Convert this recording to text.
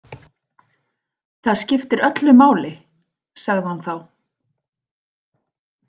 Það skiptir öllu máli, sagði hann þá.